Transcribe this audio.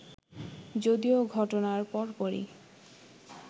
যদিও ঘটনার পরপরই